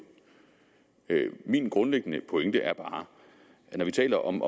min grundlæggende pointe er bare at når vi taler om